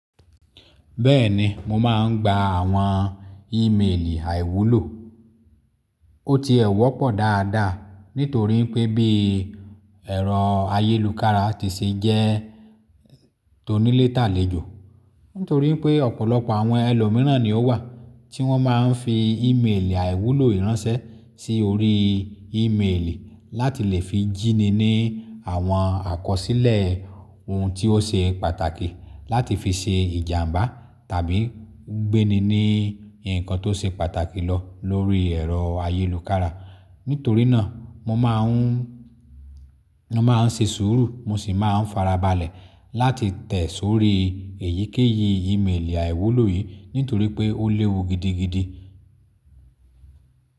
Bẹ́ẹ̀ni, mo máa ń gba àwọn ímeèlì àìwúlò. Ó ti ẹ̀ wọ̀ pọ̀ dáadáa nítorí pé bí ẹ̀rọ ayélukára ti ṣe jẹ́ tonilé tàlèjọ, nítorí pé ọ̀pọ̀lọpọ̀ àwọn ẹlòmíràn ni ó wà tí wọ́n máa ń fi ímeèlì àìwúlò yii ránṣẹ́ sí orí ímeèlì láti lè fi jíni ní àwọn àkọsílẹ̀ ohun tí ó ṣe pàtàkì láti fi ṣe ìjàmbá tàbí gbéni ní ǹkan tó ṣe pàtàkì lọ lórí ẹ̀rọ ayélukára. Nítorí náà mo máa ń, mo máa ń ṣe sùúrù mo sì máa ń farabalẹ̀ láti tẹ̀ sórí èyíkéyìí ímeèlì àìwúlò yìí nítorí pé ó léwu gidigidi.